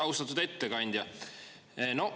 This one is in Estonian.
Austatud ettekandja!